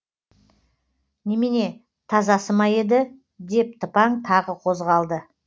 немене тазасы ма еді деп тыпаң тағы қозғалды